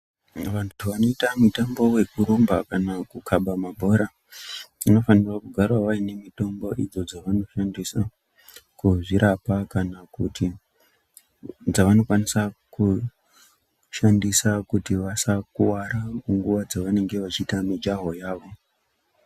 Vantu vanoita mutambo wekurumba kana kukhaba mabhora, vanofanirwa kugara vanemitombo idzo dzavanoshandisa kuzvirapa kana kuti dzavanokwanisa kushandisa kuti vasakuwara munguva dzavanenge vachiita mijaho yavo.